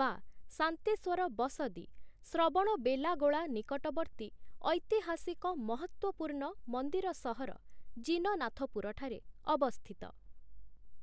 (ବା ଶାନ୍ତେଶ୍ୱର ବସଦୀ) ଶ୍ରବଣବେଲାଗୋଳା ନିକଟବର୍ତ୍ତୀ ଐତିହାସିକ ମହତ୍ୱପୂର୍ଣ୍ଣ ମନ୍ଦିର ସହର ଜିନନାଥପୁରଠାରେ ଅବସ୍ଥିତ ।